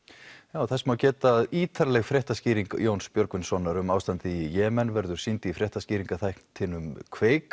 þess má geta að ítarleg fréttaskýring Jóns Björgvinssonar um ástandið í Jemen verður sýnd í fréttaskýringaþættinum kveiki